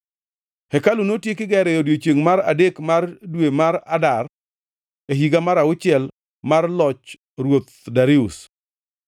Hekalu notieki gero e odiechiengʼ mar adek mar dwe mar Adar, e higa mar auchiel mar loch Ruoth Darius.